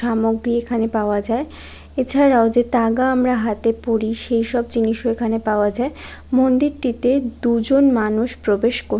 সামগ্রী এখানে পাওয়া যায়। এছাড়াও আমরা যে তাগা আমরা হাতে পরি সেইসব জিনিসও এখানে পাওয়া যায়। মন্দিরটিতে দুজন মানুষ প্রবেশ ক--